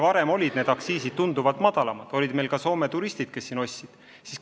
Varem olid need aktsiisid meil tunduvalt madalamad ja olid ka Soome turistid, kes siin ostsid.